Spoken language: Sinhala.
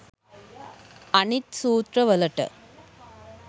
අනිත් සූත්‍රවලට